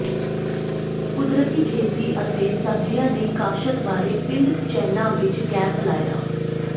ਕੁਦਰਤੀ ਖੇਤੀ ਅਤੇ ਸਬਜ਼ੀਆਂ ਦੀ ਕਾਸ਼ਤ ਬਾਰੇ ਪਿੰਡ ਚੈਨਾ ਵਿਖੇ ਕੈਂਪ ਲਾਇਆ